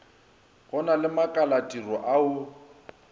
go na le makalatiro ao